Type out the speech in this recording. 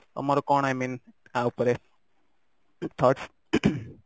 ତମର କଣ i mean ୟା ଉପରେ ତମର thoughts